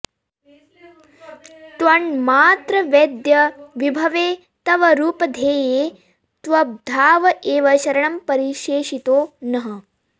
त्वन्मात्रवेद्यविभवे तव रूपधेये त्वद्भाव एव शरणं परिशेषितो नः